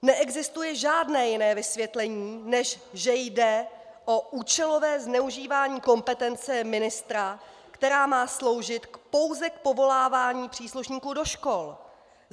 Neexistuje žádné jiné vysvětlení, než že jde o účelové zneužívání kompetence ministra, která má sloužit pouze k povolávání příslušníků do škol.